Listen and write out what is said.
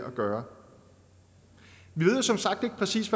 at gøre vi ved som sagt ikke præcis